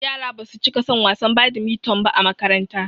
Yara basu cika son wasan badimiton ba a makaranta